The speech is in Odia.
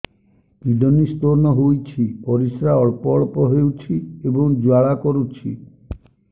କିଡ଼ନୀ ସ୍ତୋନ ହୋଇଛି ପରିସ୍ରା ଅଳ୍ପ ଅଳ୍ପ ହେଉଛି ଏବଂ ଜ୍ୱାଳା କରୁଛି